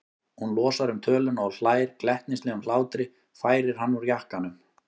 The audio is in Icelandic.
Hún losar um töluna og hlær glettnislegum hlátri, færir hann úr jakkanum.